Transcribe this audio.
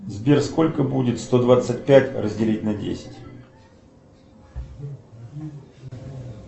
сбер сколько будет сто двадцать пять разделить на десять